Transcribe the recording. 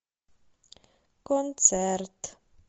концерт